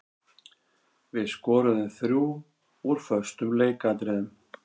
Við skoruðum þrjú úr föstum leikatriðum.